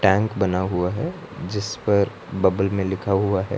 बना हुआ है जिस पर बबल में लिखा हुआ है।